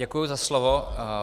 Děkuji za slovo.